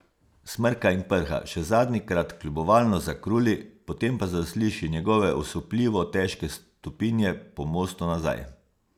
Smrka in prha, še zadnjikrat kljubovalno zakruli, potem pa zasliši njegove osupljivo težke stopinje po mostu nazaj.